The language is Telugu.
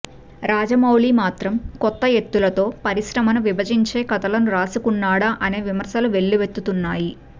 రాజమౌళి మాత్రం కొత్త ఎత్తులతో పరిశ్రమను విభజించే కథలు రాసుకున్నాడా అనే విమర్శలు వెల్లువెత్తుతున్నాయి